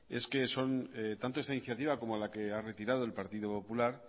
es que son tanto esta iniciativa como la que ha retirado el partido popular